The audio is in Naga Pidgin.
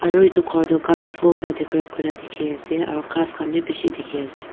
aro etu kor tho colourful vra decorate kurina tiki ase aro kas kan bi bishi tiki ase.